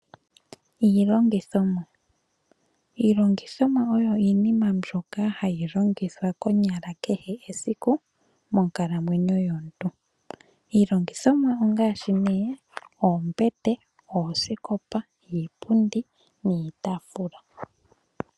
Iilongithomwa oyo iinima mbyoka hayi longithwa konyala kehe esiku monkalamwenyo yomuntu . Iilongithomwa ongaashi nee oombete. Oosikopa, iipundi niitaafula.